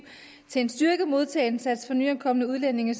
til en styrket modtagelse af nyankomne udlændinge